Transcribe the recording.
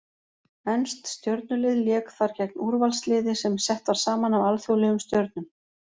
Enskt stjörnulið lék þar gegn úrvalsliði sem sett var saman af alþjóðlegum stjörnum.